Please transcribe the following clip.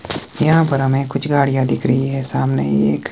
यहां पर हमें कुछ गाड़ियां दिख रही है सामने एक--